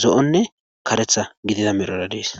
zo7onne karetha gidida medrora dees.